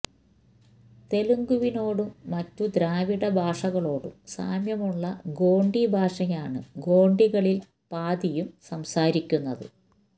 തെലുഗുവിനോടും മറ്റു ദ്രാവിഡഭാഷകളോടും സാമ്യമുള്ള ഗോണ്ടി ഭാഷയാണ് ഗോണ്ടികളിൽ പാതിയും സംസാരിക്കുന്നത്